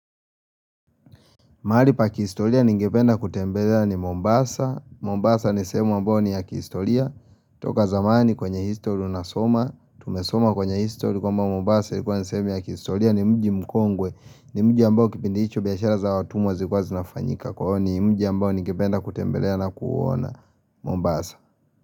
Mahalipa kihistoria ningependa kutembelea ni Mombasa, Mombasa nisehemu ambao ni ya kihistoria, toka zamani kwenye histori unasoma, tumesoma kwenye histori kwamba Mombasa nisema ya kihistoria ni mji mkongwe, ni mji ambao kipindi hicho biashara za watumwa zikuwa zinafanyika, kwao ni mji ambao ningependa kutembelea na kuona Mombasa.